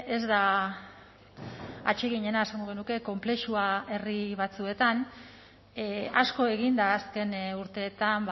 ez da atseginena esango genuke konplexua herri batzuetan asko egin da azken urteetan